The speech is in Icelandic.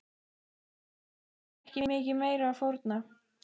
Það er ekki mikið meiru að fórna.